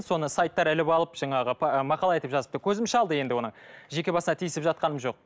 соны сайттар іліп алып жаңағы мақала айтып жазып көзім шалды енді оны жеке басына тиісіп жатқаным жоқ